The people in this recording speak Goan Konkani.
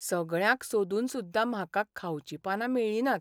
सगळ्यांक सोदून सुद्दा म्हाका खावचीं पानां मेळ्ळीं नात.